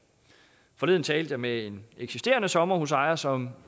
forleden talte jeg med en eksisterende sommerhusejer som